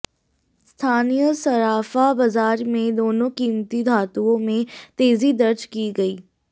स्थानीय सर्राफा बाजार में दोनों कीमती धातुओं में तेजी दर्ज की गई